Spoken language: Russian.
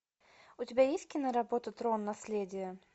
у тебя есть киноработа трон наследие